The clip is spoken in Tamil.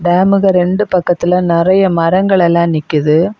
டாம்முக்கு ரெண்டு பக்கத்துல நறைய மரங்கள் எல்லாம் நிக்குது.